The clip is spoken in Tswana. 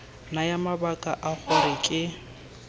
naya mabaka a gore ke